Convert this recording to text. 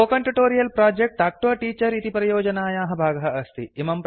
spoken tutorial project talk to a teacher इति परियोजनायाः भागः अस्ति